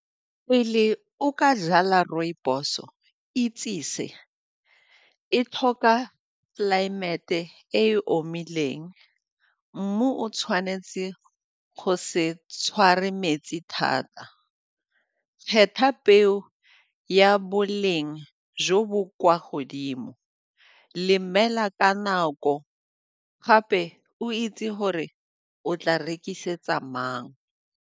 Pele o ka jala rooibos-o itse se, e tlhoka tlelaemete e omileng, mmu o tshwanetse go se tshware metsi thata, kgetha peo ya boleng jo bo kwa godimo lemela ka nako gape o itse gore o tla rekisetsa mang.